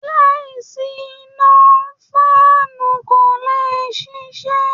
Láìsí iná, fáànù kò lè ṣiṣẹ́